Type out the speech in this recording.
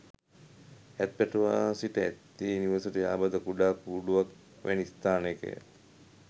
ඇත් පැටවා සිට ඇත්තේ නිවසට යාබද කුඩා කූඩුවක් වැනි ස්ථානයක ය.